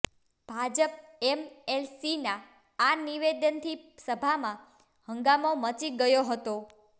ભાજપ એમએલસીના આ નિવેદનથી સભામાં હંગામો મચી ગયો હતો